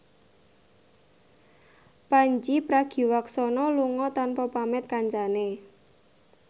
Pandji Pragiwaksono lunga tanpa pamit kancane